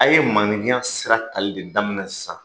A' ye maanifinya sira tali le daminɛ sisan